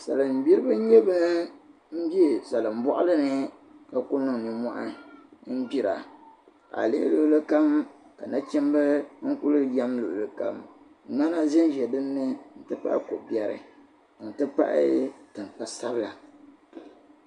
Salin gbiri bi. nye ban bɛ salin bɔɣilini ka ku niŋ. nim mohi ngbira. ka. alihi. luɣlikam ka na chim. n-kuli yam luɣili kam. mŋana. zanza dini. n ti pahi ko bɛri tab kpa sabila.